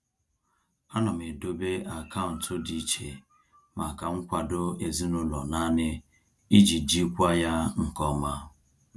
Ana m edobe akaụntụ dị iche maka nkwado ezinụlọ nani iji jikwaa ya nke ọma.